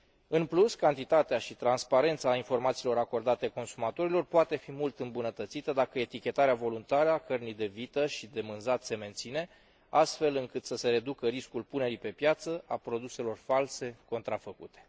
În plus, cantitatea și transparența informațiilor acordate consumatorilor poate fi mult îmbunătățită, dacă etichetarea voluntară a cărnii de vită și de mânzat se menține, astfel încât să se reducă riscul punerii pe piață a produselor false, contrafăcute.